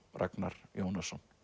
Ragnar Jónasson